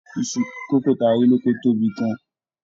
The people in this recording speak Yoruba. Iṣu kókò ta rí lókò tóbi gan-an.